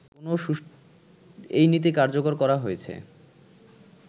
এই নীতি কার্যকর করা হয়েছে